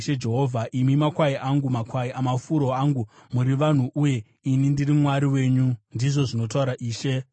Imi makwai angu, makwai amafuro angu, muri vanhu, uye ini ndiri Mwari wenyu, ndizvo zvinotaura Ishe Jehovha.’ ”